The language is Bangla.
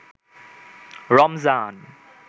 রমজান